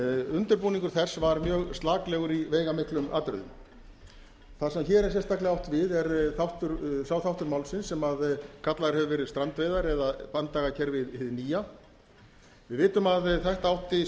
undirbúningur þess var mjög slaklegur í veigamiklum atriðum þar sem hér er sérstaklega átt við er sá þáttur málsins sem kallaður hefur verið strandveiðar eða banndagakerfi hið nýja við vitum að þetta átti